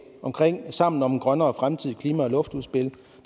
sammen om en grønnere fremtid klima og luftudspil